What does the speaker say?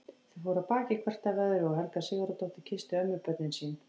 Þau fóru af baki hvert af öðru og Helga Sigurðardóttir kyssti ömmubörnin sín.